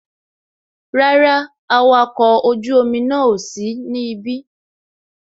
Rárá, awakọ̀ ojú omi náà ò sí ní ibí